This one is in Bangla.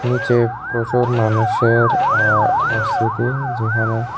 নীচে প্রচুর মানুষের আ উপস্থিতি যেখানে।